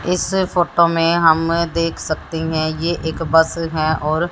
इस फोटो में हम देख सकते हैं ये एक बस है और--